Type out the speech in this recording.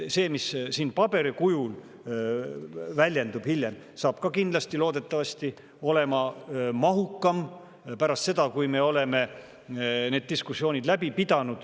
See, mis siin paberil väljendub hiljem, saab ka loodetavasti olema mahukam pärast seda, kui me oleme need diskussioonid ära pidanud.